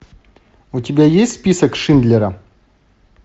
у тебя есть список шиндлера